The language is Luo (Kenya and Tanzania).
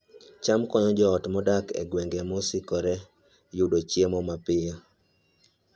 cham konyo joot modak e gwenge mosokore yudo chiemo mapiyo